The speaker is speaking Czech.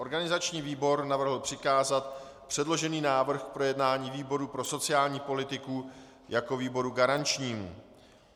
Organizační výbor navrhl přikázat předložený návrh k projednání výboru pro sociální politiku jako výboru garančnímu.